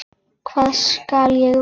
Hvað skal ég vinna?